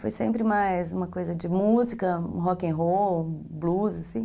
Foi sempre mais uma coisa de música, rock and roll, blues, assim.